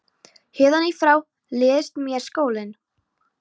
Héðan í frá leiðist mér skólinn.